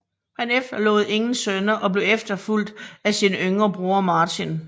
Han efterlod ingen sønner og blev efterfulgt af sin yngre bror Martin